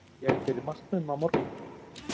Á ég fyrir matnum á morgun?